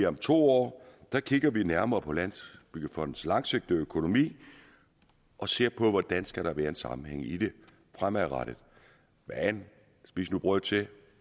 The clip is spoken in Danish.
om to år kigger vi nærmere på landsbyggefondens langsigtede økonomi og ser på hvordan der skal være en sammenhæng i den fremadrettet men spis nu brød til